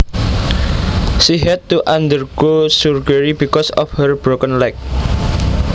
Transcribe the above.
She had to undergo surgery because of her broken leg